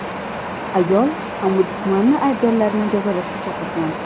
Ayol ombudsmanni aybdorlarni jazolashga chaqirgan.